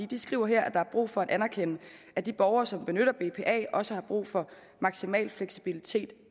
de skriver her at der er brug for at anerkende at de borgere som benytter bpa også har brug for maksimal fleksibilitet